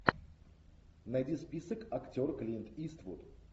найди список актер клинт иствуд